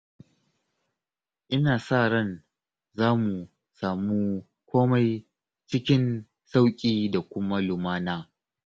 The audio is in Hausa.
Ina sa ran za mu samu komai cikin sauƙi da kuma lumana